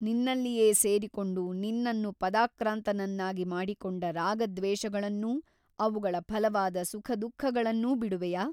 ನಿನ್ನಲ್ಲಿಯೇ ಸೇರಿಕೊಂಡು ನಿನ್ನನ್ನು ಪದಾಕ್ರಾಂತನನ್ನಾಗಿ ಮಾಡಿಕೊಂಡ ರಾಗದ್ವೇಷಗಳನ್ನೂ ಅವುಗಳ ಫಲವಾದ ಸುಖದುಃಖಗಳನ್ನೂ ಬಿಡುವೆಯಾ?